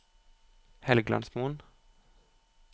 Helgelandsmoen